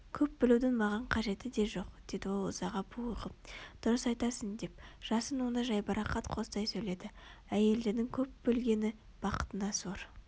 көп білудің маған қажеті де жоқ деді ол ызаға булығып дұрыс айтасың деп жасын оны жайбарақат қостай сөйледі әйелдердің көп білгені бақытына сор